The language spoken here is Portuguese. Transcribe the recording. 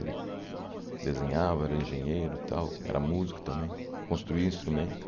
Ele desenhava, era engenheiro tal, era músico também, construía instrumento.